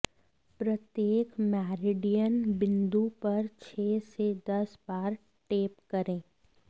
प्रत्येक मेरिडियन बिंदु पर छः से दस बार टैप करें